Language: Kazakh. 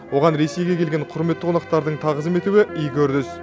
оған ресейге келген құрметті қонақтардың тағзым етуі игі үрдіс